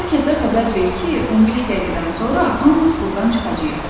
Hər kəsə xəbər ver ki, 15 dəqiqədən sonra hamımız burdan çıxacağıq.